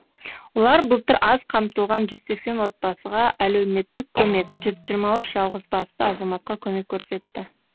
олар былтыр аз қамтылған жүз сексен отбасыға әлеуметтік көмек жүз жиырма үш жалғызбасты азаматқа көмек көрсетті